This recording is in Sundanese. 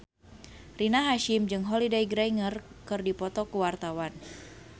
Rina Hasyim jeung Holliday Grainger keur dipoto ku wartawan